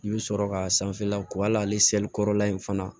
I bɛ sɔrɔ ka sanfɛla ko al'ale seli kɔrɔla in fana